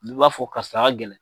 Du b'a fɔ karisa ka gɛlɛn